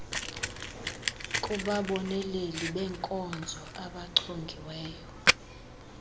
kubaboneleli beenkonzo abachongiweyo